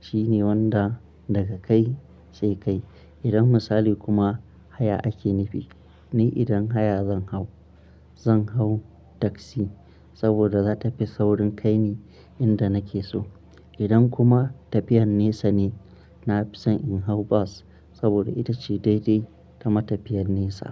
shine wanda daga kai sai kai. Idan misali kuma haya ake nufi, ni idan haya zan hau, zan hau taksi saboda za ta fi saurin kai ni inda nake so. Idan kuma tafiyar nesa ne, na fi son in hau bas saboda ita ce daidai ta matafiyar nesa.